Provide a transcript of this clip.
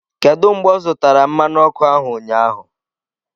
Kedu mgbe ọ zụtara mmanụ ọkụ ahụ, ụnyaahụ?